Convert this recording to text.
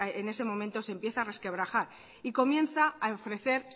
en ese momento se empieza a resquebrajar y comienza a ofrecer